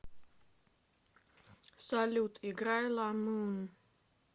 салют играй ла мун